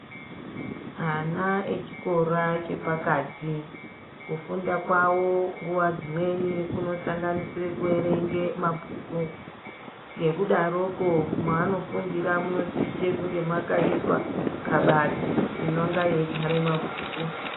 Ana echikora chepakati kufunda kwavo nguva dzimweni kunosanganisire kuverenge mabhuku. Ngekudaroko mwaanofundira munosise kunge makaiswa kabati inonga yeigara mabhuku.